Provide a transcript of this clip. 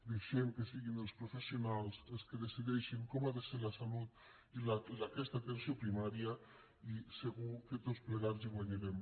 deixem que siguin els professionals els qui decideixin com ha de ser la salut i aquesta atenció primària i segur que tots plegats hi guanyarem